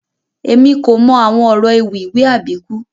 Èmi kò mọ àwọn ọrọ ewì ìwé Àbíkú